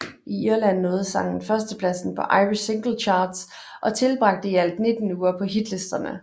I Irland nåede sangen førstepladsen på Irish Singles Chart og tilbragte i alt 19 uger på hitlisterne